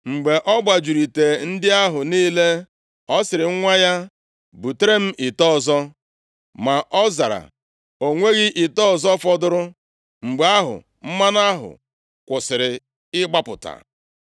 Mgbe ọ gbajuru ite ndị ahụ niile, ọ sịrị nwa ya, “Butere m ite ọzọ.” Ma ọ zara, “O nweghị ite ọzọ fọdụrụ.” Mgbe ahụ, mmanụ ahụ kwụsịrị ịgbapụta.